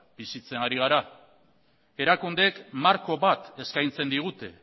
bizitzen ari gara erakundeek marko bat eskaintzen digute